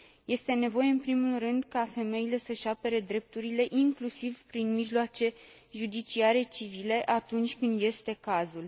Este nevoie în primul rând ca femeile să își apere drepturile, inclusiv prin mijloace judiciare civile, atunci când este cazul.